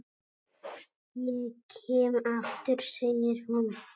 Ég kem aftur, segir hún.